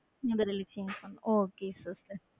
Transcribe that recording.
உங்களோட teaching okay sister.